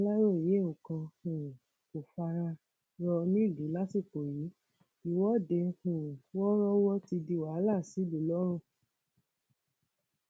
aláròye nǹkan um kò fara rọ nílùú lásìkò yìí ìwọde um wọọrọwọ ti di wàhálà sílùú lọrun